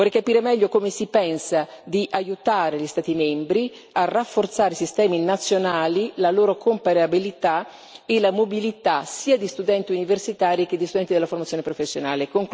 Vorrei capire meglio come si pensa di aiutare gli Stati membri a rafforzare i sistemi nazionali, la loro comparabilità e la mobilità sia di studenti universitari che di studenti della formazione professionale.